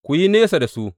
Ku yi nesa da su.